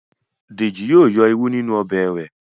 Deji yíò yọ ìrù ninu Ọbẹ̀ re.